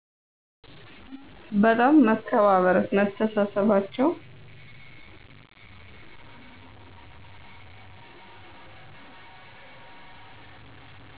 በጣም መከባበር መተሳሰባቸው